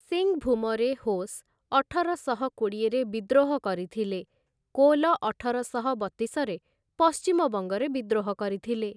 ସିଂଭୂମରେ ହୋସ୍ ଅଠରଶହ କୋଡ଼ିଏରେ ବିଦ୍ରୋହ କରିଥିଲେ, କୋଲ ଅଠରଶହ ବତିଶରେ ପଶ୍ଚିମବଙ୍ଗରେ ବିଦ୍ରୋହ କରିଥିଲେ ।